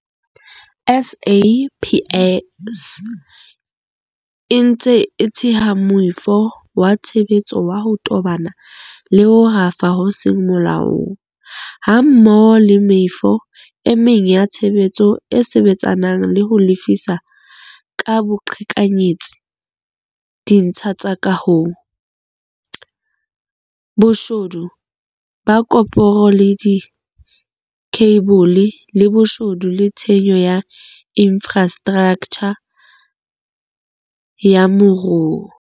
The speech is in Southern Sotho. SAPS e ntse e theha moifo wa tshebetso wa ho tobana le ho rafa ho seng molaong, hammoho le meifo e meng ya tshebetso e sebetsanang le ho lefisa ka boqhekanyetsi ditsha tsa kaho, boshodu ba koporo le dikheibole, le boshodu le tshenyo ya infrastraktjha ya moruo.